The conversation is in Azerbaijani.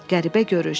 Qəribə görüş.